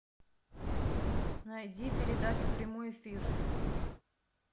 найди передачу прямой эфир